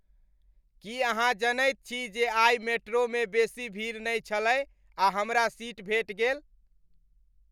की अहाँ जनैत छी जे आइ मेट्रोमे बेसी भीड़ नहि छलै आ हमरा सीट भेट गेल?